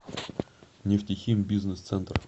нефтехим бизнес центр